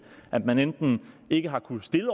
at man enten ikke har kunnet stille